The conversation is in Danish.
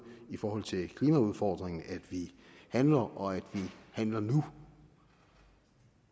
i forhold til klimaudfordringen at vi handler og at vi handler